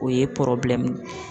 O ye